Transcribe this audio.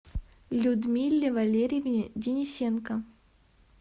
людмиле валерьевне денисенко